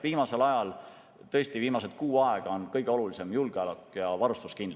Viimasel ajal, viimased kuu aega on kõige olulisem tõesti julgeolek ja varustuskindlus.